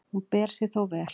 Hún ber sig þó vel.